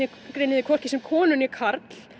þig hvorki sem konu né karl